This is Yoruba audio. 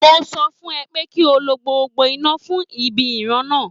Mo sọ fún ẹ pé kí o lo gbogbo iná fún ibi ìran náà